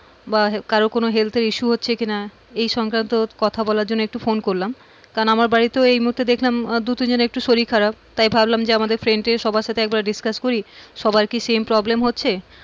বা কারোর health এর issue হচ্ছে কিনা এই সংক্রান্ত কথা বলার জন্য একটু ফোন করলাম, কারন আমার বাড়িতে এই মুহূর্তে দেখলাম দু তিনজনের একটু শরীর খারাপ তাই ভাবলাম friend দের সবার সাথে একটু discuss করি আবার কি same problem হচ্ছে,